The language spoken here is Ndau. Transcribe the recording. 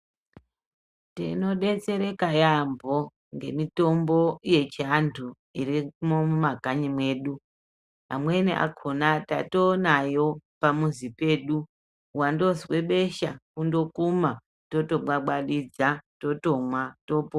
Tinodetsereka yambo ngemitombo yechiandu irimo mumakanyi edu amweni akona tatonayo pamuzi pedu wandozwe besha ondokuma totobwabwabhisa otomwa totopora.